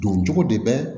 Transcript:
Don cogo de bɛ